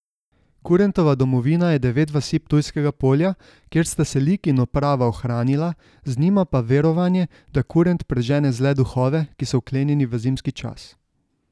Kurentova domovina je devet vasi Ptujskega polja, kjer sta se lik in oprava ohranila, z njima pa verovanje, da kurent prežene zle duhove, ki so vklenjeni v zimski čas.